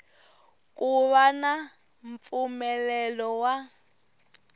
ku va na mpfumelelo wa